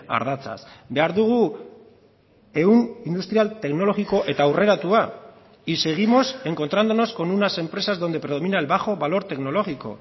ardatzaz behar dugu ehun industrial teknologiko eta aurreratua y seguimos encontrándonos con unas empresas donde predomina el bajo valor tecnológico